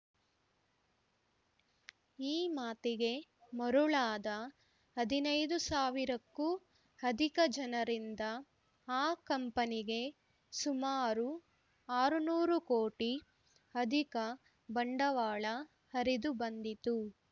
ಈ ಮಾತಿಗೆ ಮರುಳಾದ ಹದಿನೈದು ಸಾವಿರಕ್ಕೂ ಅಧಿಕ ಜನರಿಂದ ಆ ಕಂಪನಿಗೆ ಸುಮಾರು ಆರುನೂರು ಕೋಟಿ ಅಧಿಕ ಬಂಡವಾಳ ಹರಿದು ಬಂದಿತು